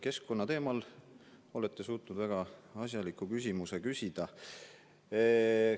Keskkonnateemal olete suutnud väga asjaliku küsimuse küsida.